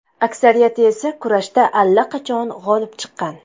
Aksariyati esa kurashda allaqachon g‘olib chiqqan.